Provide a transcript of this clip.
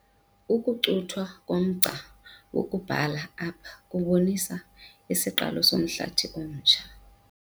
Ukucuthwa komgca wokubhala apha kubonisa isiqalo somhlathi omtsha.